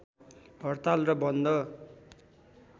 हड्ताल र बन्द